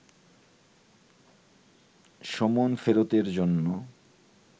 সমন ফেরতের জন্য